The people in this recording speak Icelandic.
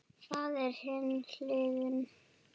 Það er hin hliðin.